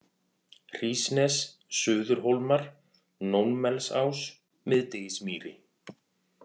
Hrísnes, Suðurhólmar, Nónmelsás, Miðdegismýri